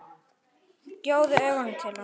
Gjóaði augunum til hans.